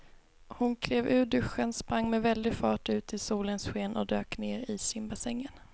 Hon klev ur duschen, sprang med väldig fart ut i solens sken och dök ner i simbassängen.